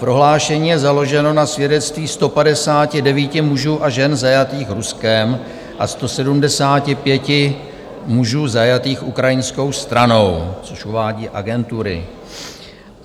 Prohlášení je založeno na svědectví 159 mužů a žen zajatých Ruskem a 175 mužů zajatých ukrajinskou stranou, což uvádějí agentury.